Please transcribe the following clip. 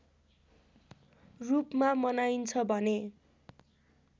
रूपमा मनाइन्छ भने